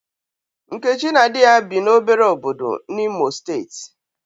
Nkechi na di ya bi n'obere obodo n'Imo steeti.